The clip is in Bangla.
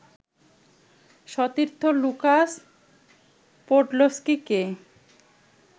সতীর্থ লুকাস পোডলস্কিকে